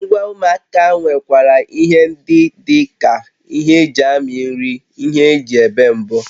Ngwa ụmụaka nwekwara ihe ndị dị ka ihe eji amị nri, ihe eji ébè mbọ